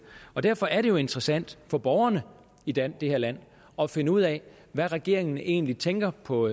derfor er det jo interessant for borgerne i det det her land at finde ud af hvad regeringen egentlig tænker på